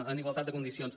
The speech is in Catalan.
en igualtat de condicions